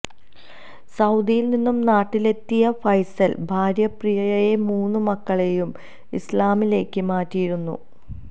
സൌദിയിൽ നിന്നും നാട്ടിലെത്തിയ ഫൈസൽ ഭാര്യ പ്രിയയെയും മൂന്ന് മക്കളെയും ഇസ്ലാമിലേക്ക് മാറ്റിയിരുന്നു